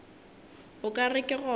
o ka re ke gona